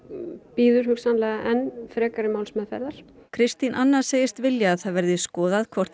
bíður hugsanlega enn frekari málsmeðferðar Kristín Anna segist vilja að það verði skoðað hvort